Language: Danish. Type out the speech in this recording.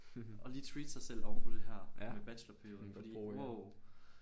Og lige treate sig selv oven på det her med bachelorperioden fordi wow